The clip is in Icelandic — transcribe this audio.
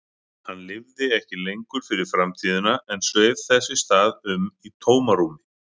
Hann lifði ekki lengur fyrir framtíðina en sveif þess í stað um í tómarúmi.